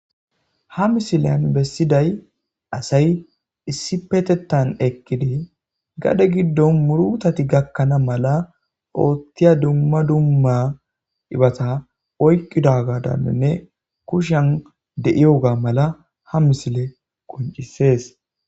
ha misileyan bessiday asay issi petetan ekkidi gade giddon murutati gakkana mala oottiya dumma dumma ibata oykqida gadaninne kushan de7iyoga mala ha misile qoncisees